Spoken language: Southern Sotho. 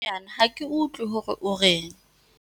Ako bue haholwanyane ha ke utlwe hore o reng.